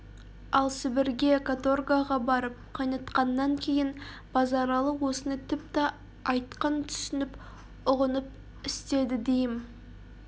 ал сібірге каторгаға барып қайнатқаннан кейін базаралы осыны тіпті айқын түсініп ұғынып істеді дейім